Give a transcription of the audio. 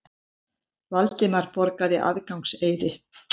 Valdimar borgaði aðgangseyri.